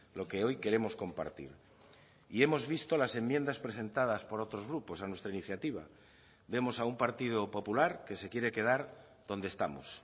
lo que hoy queremos compartir y hemos visto las enmiendas presentadas por otros grupos a nuestra iniciativa vemos a un partido popular que se quiere quedar donde estamos